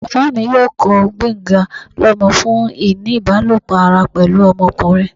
baba mi yóò kọ gbenga lomọ fun ini ibalopọ ará pẹlu ọmọkunrin